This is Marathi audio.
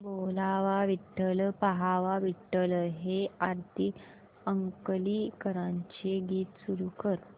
बोलावा विठ्ठल पहावा विठ्ठल हे आरती अंकलीकरांचे गीत सुरू कर